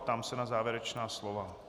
Ptám se na závěrečná slova.